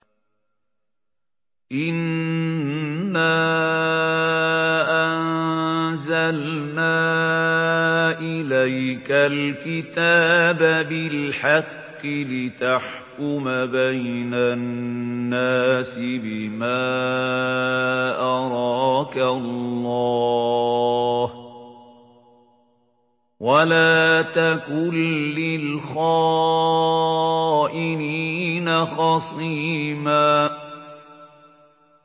إِنَّا أَنزَلْنَا إِلَيْكَ الْكِتَابَ بِالْحَقِّ لِتَحْكُمَ بَيْنَ النَّاسِ بِمَا أَرَاكَ اللَّهُ ۚ وَلَا تَكُن لِّلْخَائِنِينَ خَصِيمًا